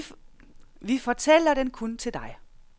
Vi fortæller den kun til dig.